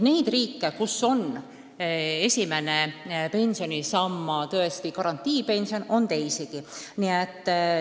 Neid riike, kus esimene pensionisammas on tõesti garantiipension, on teisigi.